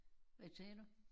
Hvad sagde du?